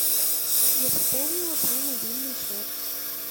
я пополнила твой мобильный счет